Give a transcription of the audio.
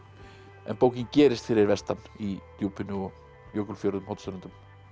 en bókin gerist fyrir vestan í Djúpinu Jökulfjörðum Hornströndum